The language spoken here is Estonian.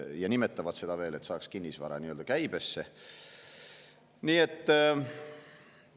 Ja nimetavad seda veel, kuidas saaks kinnisvara nii-öelda käibesse.